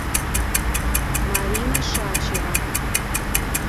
марина шачева